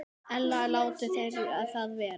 Ella láti þeir það vera.